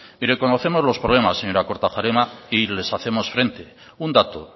mire conocemos los problemas señora kortajarena y les hacemos frente un dato